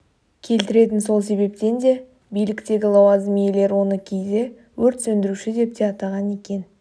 келтіретін сол себептен де биліктегі лауазым иелері оны кейде өрт сөндіруші деп те атаған екен